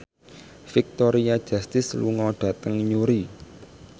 Victoria Justice lunga dhateng Newry